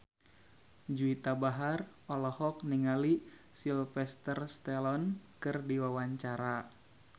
Juwita Bahar olohok ningali Sylvester Stallone keur diwawancara